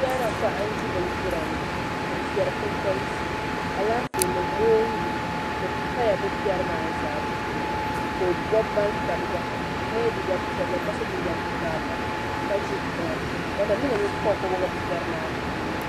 Chaana paɣa n ʒi bindira ni ka piɛri kuli galisi alaafee ni moongu ni paya be piɛrimaa puuni ka o bobi bantabiga ye liiga piɛlli ka so jinjam karili ka ʒi tiŋa watamilo mini poopoo gba biɛ piɛri maa puuni.